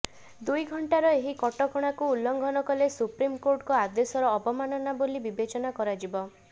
ଦୁଇଘଣ୍ଟାର ଏହି କଟକଣାକୁ ଉଲ୍ଲଂଘନ କଲେ ସୁପ୍ରିମ କୋର୍ଟଙ୍କ ଆଦେଶର ଅବମାନନା ବୋଲି ବିବେଚନା କରାଯିବ